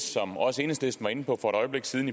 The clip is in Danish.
som også enhedslisten var inde på for et øjeblik siden